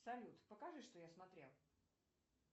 салют покажи что я смотрел